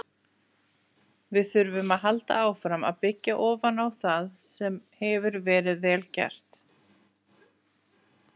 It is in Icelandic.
Við þurfum að halda áfram að byggja ofan á það sem hefur verið vel gert,